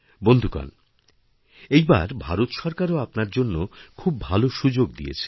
বন্ধুগণ এইবার ভারত সরকারও আপনার জন্য খুব ভালো সুযোগদিয়েছে